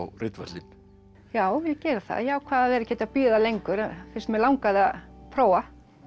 ritvöllinn já ég geri það ég ákvað að vera ekkert að bíða lengur fyrst mig langaði að prófa